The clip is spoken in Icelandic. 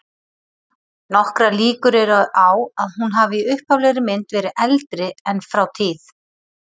Nokkrar líkur eru á að hún hafi í upphaflegri mynd verið eldri en frá tíð